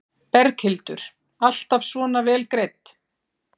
Berghildur: Alltaf svona vel greidd?